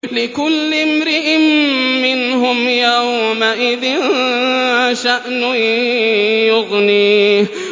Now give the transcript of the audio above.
لِكُلِّ امْرِئٍ مِّنْهُمْ يَوْمَئِذٍ شَأْنٌ يُغْنِيهِ